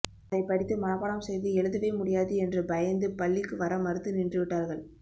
அதை படித்து மனப்பாடம் செய்து எழுதவே முடியாது என்று பயந்து பள்ளிக்கு வர மறுத்து நின்று விட்டார்கள்